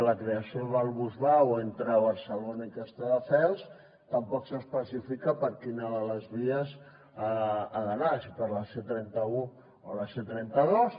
la creació del bus vao entre barcelona i castelldefels tampoc s’especifica per quina de les vies ha d’anar si per la c trenta un o la c trenta dos